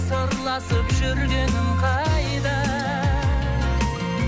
сырласып жүргенің қайда